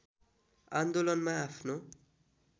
आन्दोलनमा आफ्नो